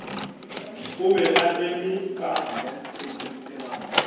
o be a eme ka